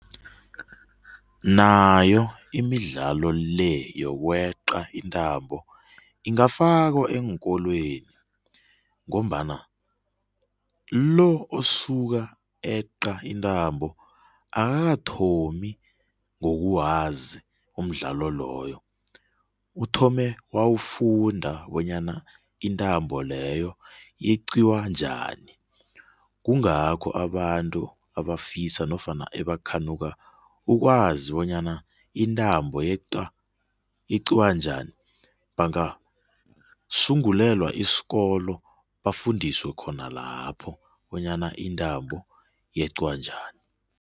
Nayo imidlalo le yoke yokweqa intambo, angafaniko eenkolweni ngombana lo asuka eqa intambo akakathomi ngokuwazi umdlalo loyo, uthome wawufunda bonyana intambo leyo yeqiwa njani. Kungakho abantu abafisa nofana ebakhanuka ukwazi bonyana intambo yeqa yeqiwa njani, bangasungulelwa isikolo bafundiswe khona lapho bonyana intambo yeqiwa njani.